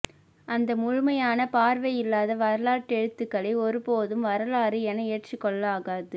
அந்த முழுமையான பார்வை இல்லாத வரலாற்றெழுத்துகளை ஒருபோதும் வரலாறு என ஏற்றுக்கொள்ளலாகாது